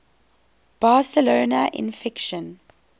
barcelona in fiction